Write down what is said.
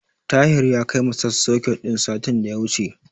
Tahir ya kai masap soket din satin da ya wuce.